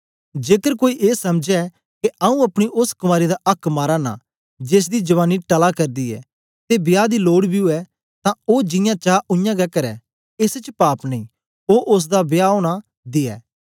जेकर कोई ए समझै के आऊँ अपनी ओस कुँवारी दा आक्क माराना जेसदी जवानी टला करदी ऐ ते विवाह दी लोड बी उवै तां ओ जियां चा उयांगै करै एस च पाप नेई ओ ओसदा विवाह ओना दियै